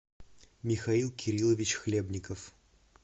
михаил кириллович хлебников